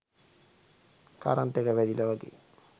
current එක වැදිලා වගේ